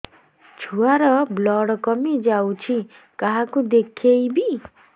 ଛୁଆ ର ବ୍ଲଡ଼ କମି ଯାଉଛି କାହାକୁ ଦେଖେଇବି